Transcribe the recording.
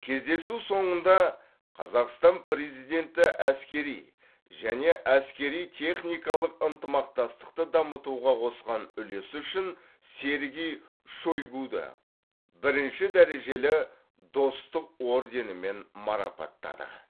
кездесу соңында қазақстан президенті әскери және әскери техникалық ынтымақтастықты дамытуға қосқан үлесі үшін сергей шойгуді бірінші дәрежелі достық орденімен марапаттады